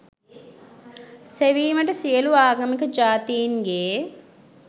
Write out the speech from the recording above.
සෙවීමට සියලු ආගමික ජාතීන්ගේ